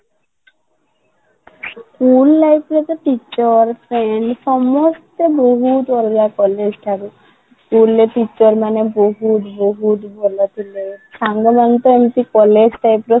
school life ରେ ତ teacher ସମସ୍ତେ ବହୁତ ଅଲଗା college ଠାରୁ school ରେ teacher ମାନେ ବହୁତ ବହୁତ ଭଲ ଥିଲେ ସାଙ୍ଗ ମାନେ ତ ଏମିତି college ରେ